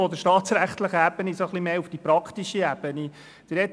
Von der staatsrechtlichen Ebene nun zur praktischen Ebene des Anliegens: